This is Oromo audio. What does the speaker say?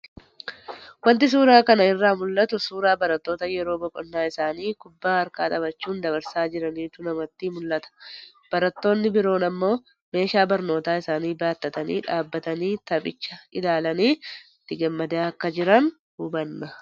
Wanti suuraa kana irraa mul'atu, suuraa barattoota yeroo boqonnaa isaanii kubbaa harkaa taphachuun dabarsaa jiraniitu namatti mul'ata. Barattoonni biroon ammoo meeshaa barnootaa isaanii baattatanii dhaabatanii taphicha ilaalanii itti gammadaa akka jiran hubanna